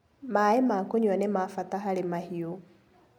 Maĩ ma kũnyua nĩmabata harĩ mahiũ.